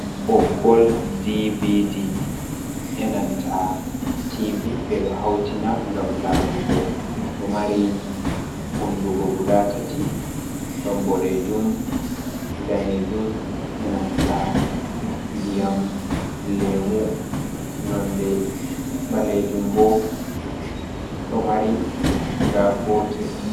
Ɓoggol (DVD) enanta tivi ɓe do' hautina gam larugo, ɗo mari hunduko guda tati, ɗon bodejuum, daneejum enanta diyam lemu, nonde ɓalejuum bo ɗo mari guda gotel.